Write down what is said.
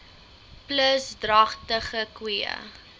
plus dragtige koeie